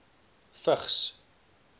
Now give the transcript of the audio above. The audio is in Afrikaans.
vigs